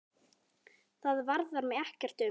Það varðar mig ekkert um.